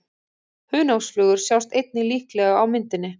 Hunangsflugur sjást einnig líklega á myndinni.